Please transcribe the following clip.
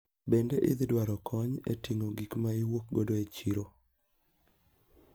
Bende idhi dwaro kony e ting`o gikma iwuok godo e chiro?